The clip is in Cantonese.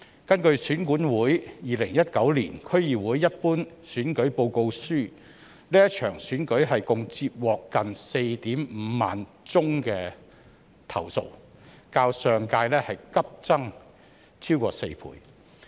根據選舉管理委員會《2019年區議會一般選舉報告書》，這場選舉共接獲近 45,000 宗投訴，較上屆急增逾4倍。